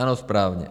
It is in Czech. Ano, správně.